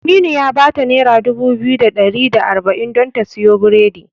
Aminu ya bata nera dubu biyu da ɗari da arba'in don ta siyo biredi.